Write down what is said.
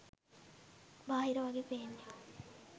බාහිර වගේ පේන්නේ